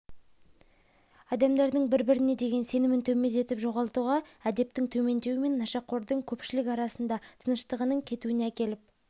адамдардың бір-біріне деген сенімін төмендетіп жоғалтуға әдептің төмендеуі мен нашақордың көпшілік арасында тыныштығының кетуіне әкеліп